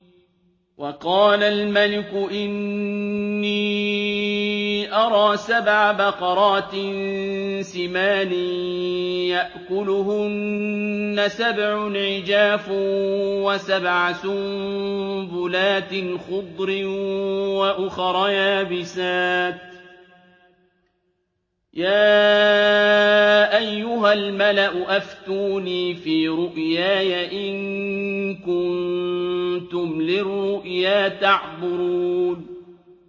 وَقَالَ الْمَلِكُ إِنِّي أَرَىٰ سَبْعَ بَقَرَاتٍ سِمَانٍ يَأْكُلُهُنَّ سَبْعٌ عِجَافٌ وَسَبْعَ سُنبُلَاتٍ خُضْرٍ وَأُخَرَ يَابِسَاتٍ ۖ يَا أَيُّهَا الْمَلَأُ أَفْتُونِي فِي رُؤْيَايَ إِن كُنتُمْ لِلرُّؤْيَا تَعْبُرُونَ